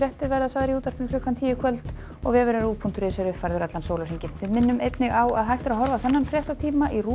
verða sagðar í útvarpi klukkan tíu í kvöld og vefurinn rúv punktur is er uppfærður allan sólarhringinn við minnum einnig á að hægt er að horfa á þennan fréttatíma í RÚV